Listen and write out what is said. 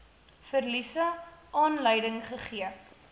verliese aanleiding gegee